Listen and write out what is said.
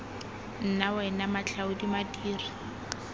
nna wena ena matlhaodi madiri